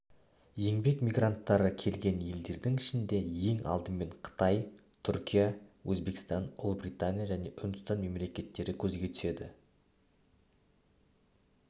еңбек мигранттары келген елдердің ішінде ең алдымен қытай түркия өзбекстан ұлыбритания және үндістан мемлекеттері көзге түседі